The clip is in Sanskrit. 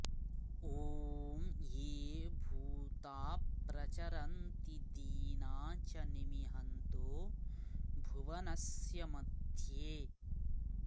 ॐ ये भूता प्रचरन्ति दीनाच निमिहन्तो भुवनस्य मध्ये